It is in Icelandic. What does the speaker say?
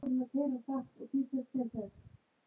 Jóhann: Hvernig lögga viltu verða?